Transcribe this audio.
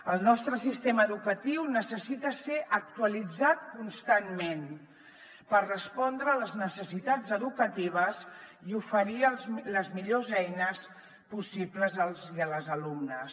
el nostre sistema educatiu necessita ser actualitzat constantment per respondre a les necessitats educatives i oferir les millors eines possibles als i les alumnes